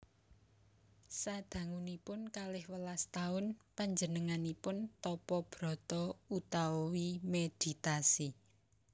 Sadangunipun kalih welas taun panjenenganipun tapa brata utawi meditasi